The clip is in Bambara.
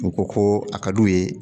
U ko ko a ka d'u ye